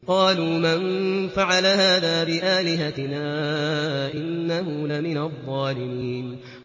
قَالُوا مَن فَعَلَ هَٰذَا بِآلِهَتِنَا إِنَّهُ لَمِنَ الظَّالِمِينَ